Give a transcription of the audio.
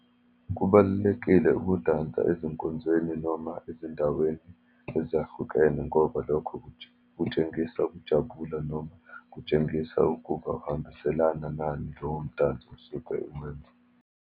Kubalulekile ukudansa ezinkonzweni, noma ezindaweni ezahlukene, ngoba lokho kutshengisa ukujabula, noma kutshengisa ukuba uhambiselana nani lowo mdantso osuke uwenza.